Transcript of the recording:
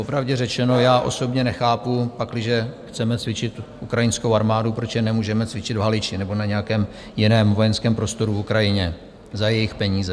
Popravdě řečeno, já osobně nechápu, pakliže chceme cvičit ukrajinskou armádu, proč je nemůžeme cvičit v Haliči nebo na nějakém jiném vojenském prostoru na Ukrajině za jejich peníze.